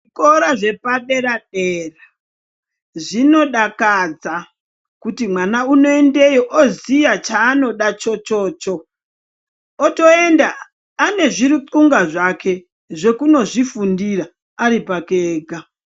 Zvikora zvepa dera dera zvino dakadza kuti mwana unoendeyo oziya chanoda chochocho otoenda ane zvi rutwunga zvake zvekunozvi fundira ari pake ega.